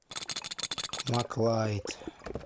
маклайд